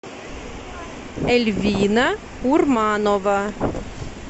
эльвина урманова